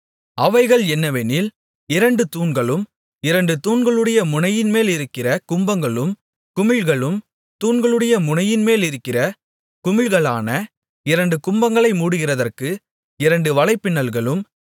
அவைகள் என்னவெனில் இரண்டு தூண்களும் இரண்டு தூண்களுடைய முனையின்மேலிருக்கிற கும்பங்களும் குமிழ்களும் தூண்களுடைய முனையின் மேலிருக்கிற குமிழ்களான இரண்டு கும்பங்களை மூடுகிறதற்கு இரண்டு வலைப்பின்னல்களும்